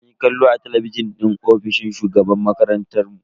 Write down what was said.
Munyi kallo a talabijin din ofishin shugaban makarantar mu.